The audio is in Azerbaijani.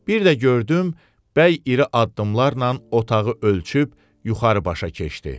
Bir də gördüm, bəy iri addımlarla otağı ölçüb yuxarı başa keçdi.